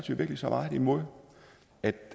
imod men